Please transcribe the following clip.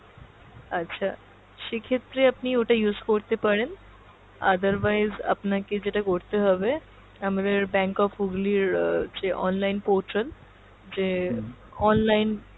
আচ্ছা সেক্ষেত্রে আপনি ওটা use করতে পারেন, otherwise আপনাকে যেটা করতে হবে আমাদের bank of Hooghly র যে online portal যে online